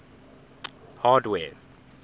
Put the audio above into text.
hardware